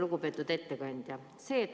Lugupeetud ettekandja!